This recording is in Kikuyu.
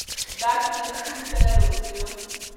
Ngakinya cukuru tene rũciũ